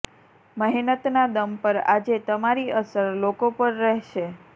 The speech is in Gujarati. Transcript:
મહેનતના દમ પર આજે તમારી અસર લોકો પર રહેશે